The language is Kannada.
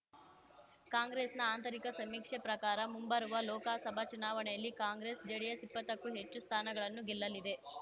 ಕಾಂಗ್ರೆಸ್‌ನ ಆಂತರಿಕ ಸಮೀಕ್ಷೆ ಪ್ರಕಾರ ಮುಂಬರುವ ಲೋಕಸಭಾ ಚುನಾವಣೆಯಲ್ಲಿ ಕಾಂಗ್ರೆಸ್ ಜೆಡಿಎಸ್ ಇಪ್ಪತ್ತಕ್ಕೂ ಹೆಚ್ಚು ಸ್ಥಾನಗಳನ್ನು ಗೆಲ್ಲಲಿದೆ